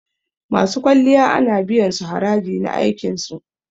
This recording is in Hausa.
Masu kwalliya ana biyan su haraji na aikin su.